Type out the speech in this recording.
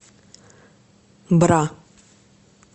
бра